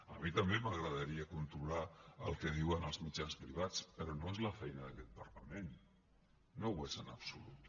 a mi també m’agradaria controlar el que diuen els mitjans privats però no és la feina d’aquest parlament no ho és en absolut